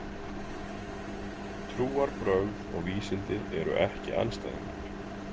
Trúarbrögð og vísindi eru ekki andstæðingar.